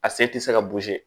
A sen tɛ se ka